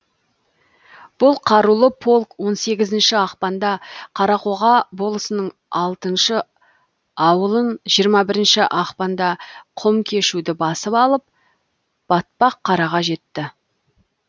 бұл қарулы полк он сегізінші ақпанда қарақоға болысының алтыншы ауылын жиырма бірінші ақпанда құмкешуді басып алып батпаққараға жетті